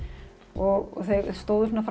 og þau stóðu svona